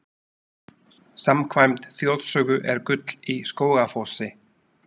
Samkvæmt þjóðsögu er gull í Skógafossi.